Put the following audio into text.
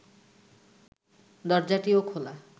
দরজাটিও খোলা